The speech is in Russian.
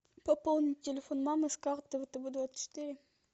пополнить телефон мамы с карты втб двадцать четыре